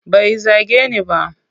Bai zage ni ba.